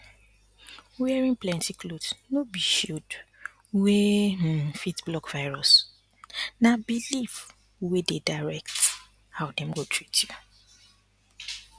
wearing plenty cloth no be shield wey um fit block virus na um belief wey dey direct how dem go treat you